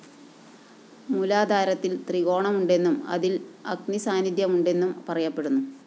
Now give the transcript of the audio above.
മൂലാധാരത്തില്‍ ത്രികോണമുണ്ടെന്നും അതില്‍ അഗ്നിസാന്നിദ്ധ്യമുെന്നും പറയപ്പെടുന്നു